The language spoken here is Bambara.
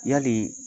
Yali